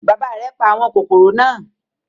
Bàbá rẹ̀ pa àwọn kòkòrò náà.